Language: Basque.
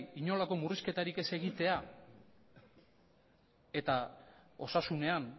inolako murrizketarik ez egitea eta osasunean